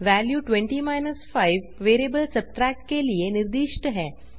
value 20 5 variable subtract के लिए निर्दिष्ट है